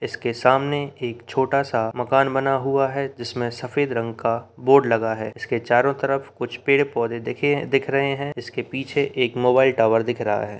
इसके सामने एक छोटा-सा मकान बना हुआ है जिसमें सफेद रंग का बोर्ड लगा है इसके चारो तरफ कुछ पेड़ पौधे दिखे है दिख रहे है इसके पीछे एक मोबाइल टावर दिख रहा है।